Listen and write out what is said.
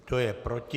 Kdo je proti?